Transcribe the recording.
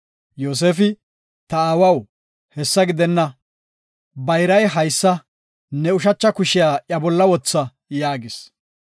Yoosefi, “Ta aawaw, hessa gidenna. Bayray haysa ne ushacha kushiya iya bolla wotha” yaagis.